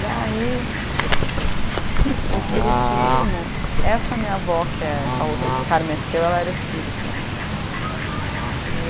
Daí, o espiritismo, essa minha avó que é, falou esse cara meteu, ela era espírita, né? E